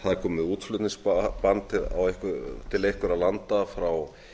það er komið útflutningsbann til einhverra landa frá